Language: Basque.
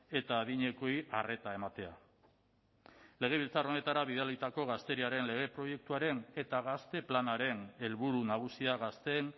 eta adinekoei arreta ematea legebiltzar honetara bidalitako gazteriaren lege proiektuaren eta gazte planaren helburu nagusia gazteen